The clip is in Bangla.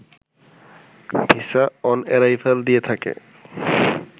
ভিসা-অন-অ্যারাইভাল দিয়ে থাকে